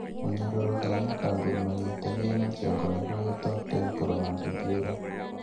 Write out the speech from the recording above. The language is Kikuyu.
Mũnyororo harĩa makaburu manyitanĩire na kĩongo nĩho hetagwo temporomandibular.